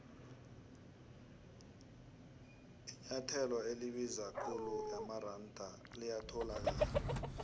inuathelo elibiza ikhulu yamaronda liyathandwa